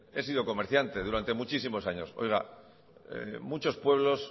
he sido comerciante durante muchísimos años oiga muchos pueblos